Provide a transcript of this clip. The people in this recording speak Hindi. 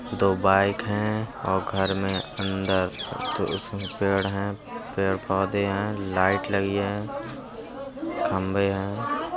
दो बाइक हैं और घर में अंदर तुलसी के पेड़ है। पेड़ पौधे हैं। लाइट लगी हैं खंबे हैं।